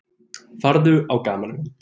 Farðu á gamanmynd.